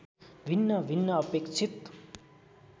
भिन्न भिन्न अपेक्षित